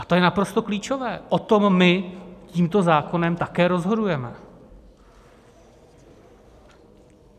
A to je naprosto klíčové, o tom my tímto zákonem také rozhodujeme.